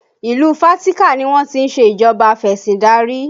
Ìlú Fatika ni wọ́n ti ń ṣe ìjọba afesindari